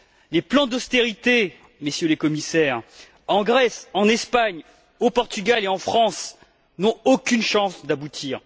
Les plans d'austérité, Messieurs les Commissaires, en Grèce, en Espagne, au Portugal et en France, n'ont aucune chance d'aboutir.